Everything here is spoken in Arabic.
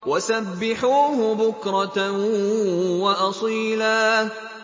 وَسَبِّحُوهُ بُكْرَةً وَأَصِيلًا